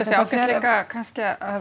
sé ágætt líka kannski að